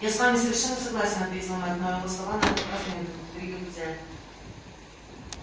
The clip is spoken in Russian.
я с вами совершенно согласен ответил мэтт но его слова и на этот раз не удовлетворили хозяина